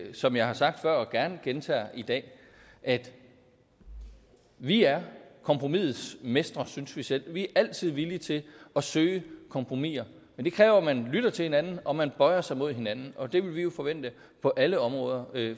som jeg har sagt før og gerne gentager i dag at vi er kompromisets mestre synes vi selv vi er altid villige til at søge kompromiser men det kræver at man lytter til hinanden og at man bøjer sig mod hinanden og det vil vi jo forvente på alle områder